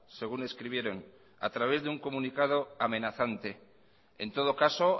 según escribieron a través de un comunicado amenazante en todo caso